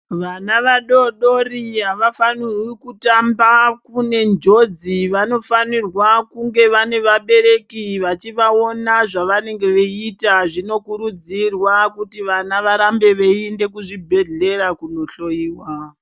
Vana vadodori havafanirwi kutamba kune njodzi. Vanofanirwa kunge vane vabereki vachivaona zvavanenge veiita. Zvinokurudzirwa kuti vana varambe veiinde kuzvibhedhlera kunohloyiwa.